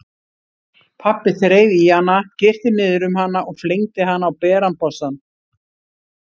Pabbi þreif í hana, girti niður um hana og flengdi hana á beran bossann.